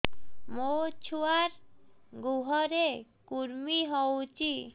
ମୋ ଛୁଆର୍ ଗୁହରେ କୁର୍ମି ହଉଚି